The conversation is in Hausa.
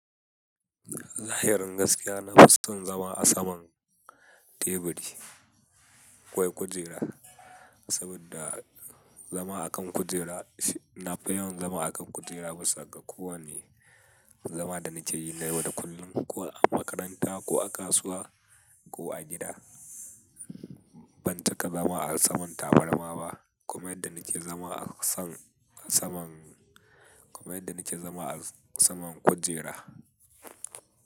Zahirin gaskiya na fi son zama a saman teburi ko a kujera, saboda zama a kan kujera, na fi yawan zama a kan mukera bisa ga kowanne. Zama da nake yi na yau da kullum ko a makaranta ko a kasuwa ko a gida. Ban cika zama a saman tabarma ba. Kamar yanda nake zama a saman kujera.